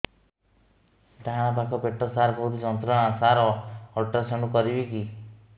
ଡାହାଣ ପାଖ ପେଟ ସାର ବହୁତ ଯନ୍ତ୍ରଣା ସାର ଅଲଟ୍ରାସାଉଣ୍ଡ କରିବି କି